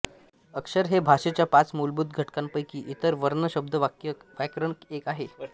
अक्षर हे भाषेच्या पाच मूलभूत घटकांपैकी इतर वर्ण शब्द वाक्य व व्याकरण एक आहे